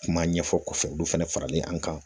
Kuma ɲɛfɔ kɔfɛ olu fana faralen an kan